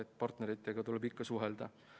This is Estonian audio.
Ja partneritega tuleb ikka suhelda.